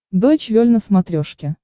дойч вель на смотрешке